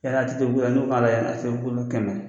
Yala ATT bugula n'u kan ka taa yala ATT bugula n'o kɛmɛ